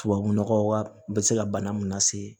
Tubabu nɔgɔ wa u bɛ se ka bana mun lase